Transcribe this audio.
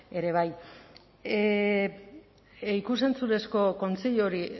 ere bai ikus entzunezko kontseilu hori